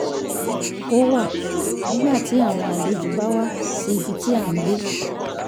kó wà nígbà tí àwọn àlejò bá wá sí ibi tí à ń gbé